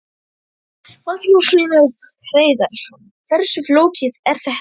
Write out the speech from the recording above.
Magnús Hlynur Hreiðarsson: Hversu flókið er þetta?